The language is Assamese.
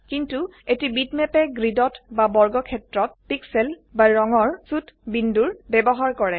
কিন্তু এটি বিটম্যাপে গ্ৰিডত বা বৰ্গক্ষেত্ৰত পিক্সেল বা ৰঙৰ ছোট বিন্দুৰ ব্যবহাৰ কৰে